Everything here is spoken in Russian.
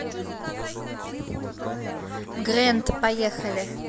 грэнд поехали